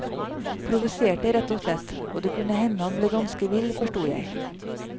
Provoserte rett og slett, og det kunne hende han ble ganske vill forsto jeg.